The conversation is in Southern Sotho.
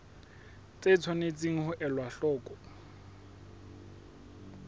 tse tshwanetseng ho elwa hloko